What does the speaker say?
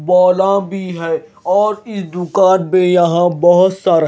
बोला भी है और इस दुकान पे यहां बहुत सारा--